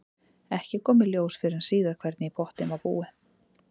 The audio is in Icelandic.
Ekki kom í ljós fyrr en síðar hvernig í pottinn var búið.